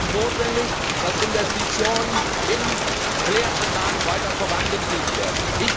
Deshalb ist es notwendig, dass Investitionen in Kläranlagen weiter vorangetrieben werden.